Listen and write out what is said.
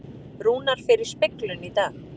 Rúnar fer í speglun í dag